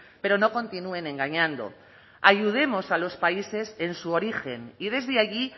pero no continúen engañando ayudemos a los países en su origen y desde allí